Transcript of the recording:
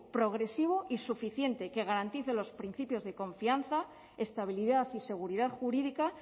progresivo y suficiente que garantice los principios de confianza estabilidad y seguridad jurídica